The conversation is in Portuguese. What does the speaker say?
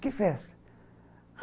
Que festa?